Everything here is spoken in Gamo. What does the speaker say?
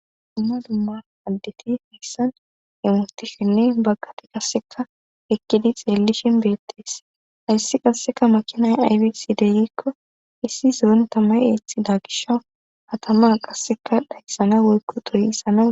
Du.mma dumma addeti heyssan hemustishinne baggati kasseka ekkidi xeellishin beettees ayssi qasseka makinay aybisi degikko issi zoon tamay eeththi daagisho hatama qasseka dhayssana woykko toyi issana.